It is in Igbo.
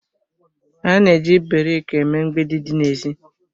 A na-eji brik eme mgbidi dị n'èzí